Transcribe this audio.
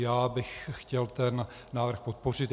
Já bych chtěl ten návrh podpořit.